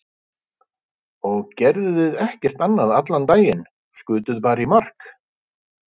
Og gerðuð þið ekkert annað allan daginn, skutuð bara í mark?